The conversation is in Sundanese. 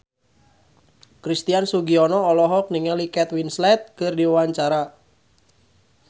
Christian Sugiono olohok ningali Kate Winslet keur diwawancara